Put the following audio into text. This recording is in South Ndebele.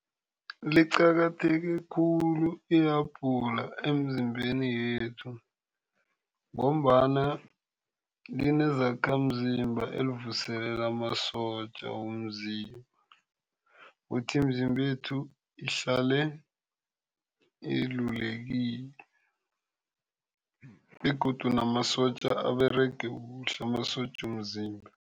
Liqakatheke khulu ihabhula emizimbeni yethu ngombana linezakhamzimba ezivuselela amasotja womzimba. Ukuthi imizimba yethu ihlale ilulekile begodu namasotja aberege kuhle. Amasotja womzimba.